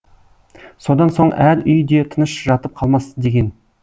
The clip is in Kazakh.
содан соң әр үй де тыныш жатып қалмас деген